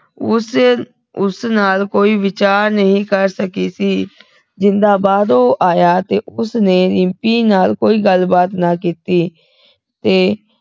ਉਹ ਸਿਰ ਉਸ ਨਾਲ ਕੋਈ ਵਿਚਾਰ ਨਹੀਂ ਕਰ ਸਕੀ ਸੀ ਜਿੰਦਾ ਬਾਹਰੋਂ ਆਇਆ ਤੇ ਉਸਨੇ ਰਿੰਪੀ ਨਾਲ ਕੋਈ ਗੱਲ ਬਾਤ ਨਾ ਕੀਤੀ